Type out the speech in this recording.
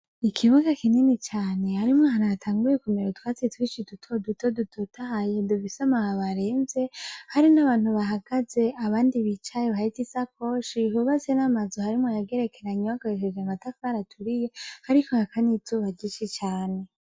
Ikibuga kinini cane harimwo ahantu hatanguye kumera utwatsi twinshi dutoduto dutotahaye dufise amababi aremvye, hari n'abantu bahagaze abandi bicaye bahetse isakoshi , hubatse namazu harimwo ayagerekeranye yubakishije amatafari aturiye, hariko haka n'izuba ryinshi cane .